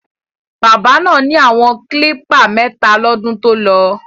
Bábà náà ni àwọn klípà mẹ́ta lọ́dún tolọ.